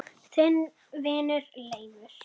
Þinn vinur Leifur.